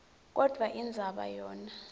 kodvwa indzaba yona